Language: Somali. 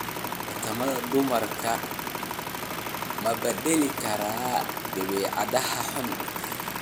Tartamada dumarku ma bedeli karaan dabeecadaha xun?